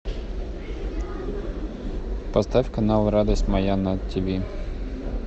поставь канал радость моя на тиви